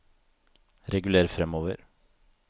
reguler framover